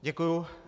Děkuji.